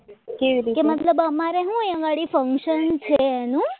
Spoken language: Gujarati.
કે મતલબ અમારે એ વળી function છે એનું